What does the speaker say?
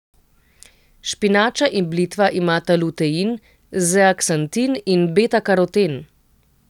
Špinača in blitva imata lutein, zeaksantin in betakaroten.